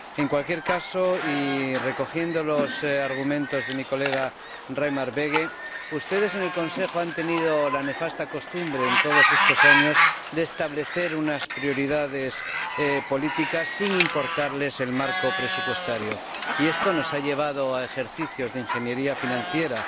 En cualquier caso, y retomando los argumentos de mi colega Reimer Böge, ustedes en el Consejo han tenido la nefasta costumbre todos estos años de establecer prioridades políticas sin importarles el marco presupuestario, y esto nos ha llevado a ejercicios de ingeniería financiera